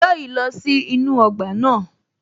Joy lọ sí inú ọgbà náà